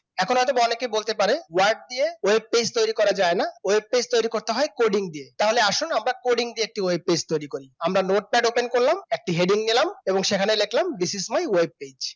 এখন হয়তো অনেকেই বলতে পারে word দিয়ে web page তৈরি করা যায় না web page তৈরি করতে হয় coding দিয়ে চলে আসুন আমরা একটা কঠিন দিয়ে web page তৈরি করি আমরা notepad open করলাম একটি হেঁটে গেলাম এবং সেখানে লিখলাম this is my web page